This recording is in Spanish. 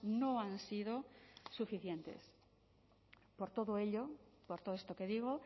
no han sido suficientes por todo ello por todo esto que digo